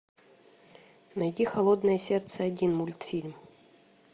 найти холодное сердце один мультфильм